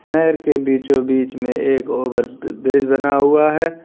नहर के बीचो बीच में एक ओवर ब्रिज बना हुआ है।